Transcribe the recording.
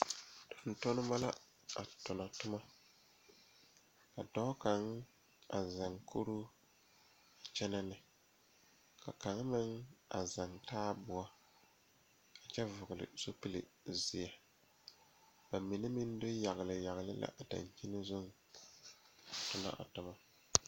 Tontonnema la a tonɔ tommo ka dɔɔ kaŋ a zɛŋ kuruu a kyɛnɛ ne la kaŋ meŋ a zɛŋ taaboɔ kyɛ vɔgle zupilzeɛ ba mine meŋ do yagle yagle la a dankyini zuŋ a tonɔ a tommo.